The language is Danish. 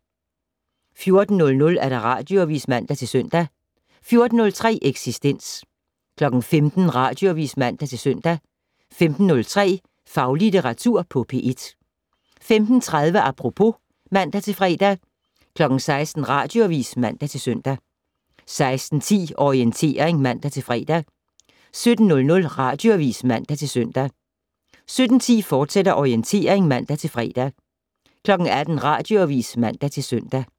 14:00: Radioavis (man-søn) 14:03: Eksistens 15:00: Radioavis (man-søn) 15:03: Faglitteratur på P1 15:30: Apropos (man-fre) 16:00: Radioavis (man-søn) 16:10: Orientering (man-fre) 17:00: Radioavis (man-søn) 17:10: Orientering, fortsat (man-fre) 18:00: Radioavis (man-søn)